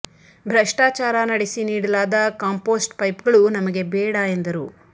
ಭ್ರಷ್ಟಾಚಾರ ನಡೆಸಿ ನೀಡಲಾದ ಕಾಂಪೋಸ್ಟ್ ಪೈಪ್ ಗಳು ನಮಗೆ ಬೇಡ ಎಂದರು